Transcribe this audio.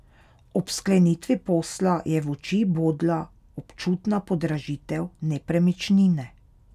Ob sklenitvi posla je v oči bodla občutna podražitev nepremičnine.